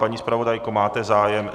Paní zpravodajko, máte zájem?